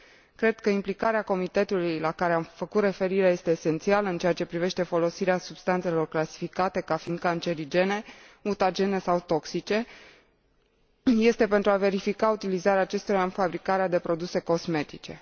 Cred că implicarea Comitetului la care am făcut referire este esențială, în ceea ce privește folosirea substanțelor clasificate ca fiind cancerigene, mutagene sau toxice, pentru a verifica utilizarea acestora în fabricarea de produse cosmetice.